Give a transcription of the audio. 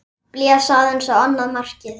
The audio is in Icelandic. Blés aðeins á annað markið.